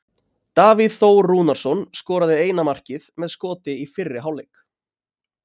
Davíð Þór Rúnarsson skoraði eina markið með skoti í fyrri hálfleik.